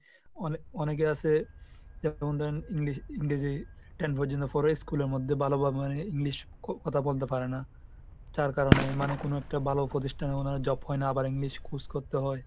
অনে~ অনেকে আসে যেমন ধরেন english ইংরেজি ten পর্যন্ত পড়ে school এর মধ্যে ভালোভাবে english এ ক~ কথা বলতে পারে না। যার কারণে মানে কোন একটা ভালো প্রতিষ্ঠানে ওরা job পায়না আবার english খোঁজ করতে হয়।